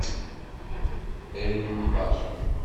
эль фашер